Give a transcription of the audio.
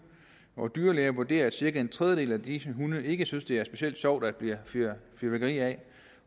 og dyrlæger vurderer at cirka en tredjedel af disse hunde ikke synes det er specielt sjovt at der bliver fyret fyrværkeri af det